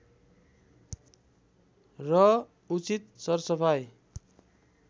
र उचित सरसफाइ